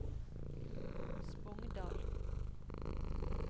Spongdal